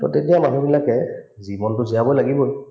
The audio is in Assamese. so, তেতিয়া মানুহবিলাকে জীৱনতো জীয়াব লাগিবই